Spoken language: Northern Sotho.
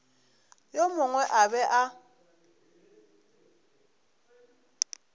yo mongwe a be a